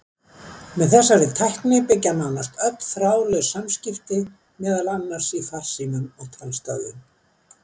Á þessari tækni byggja nánast öll þráðlaus samskipti, meðal annars í farsímum og talstöðvum.